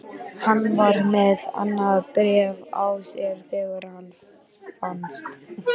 Hann var með annað bréf á sér þegar hann fannst.